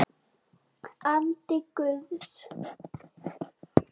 Andi Guðs.